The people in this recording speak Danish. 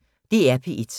DR P1